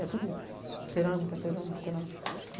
É tudo cerâmica, cerâmica, cerâmica.